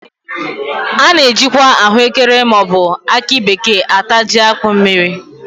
A na- ajikwa ahụ ekere ma ọ bụ akị bekee ata jí akpụ mmiri eri